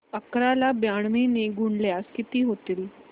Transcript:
अकरा ला ब्याण्णव ने गुणल्यास किती होतील